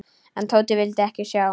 En Tóti vildi ekki sjá.